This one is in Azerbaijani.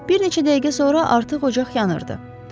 Bir neçə dəqiqə sonra artıq ocaq yanırdı.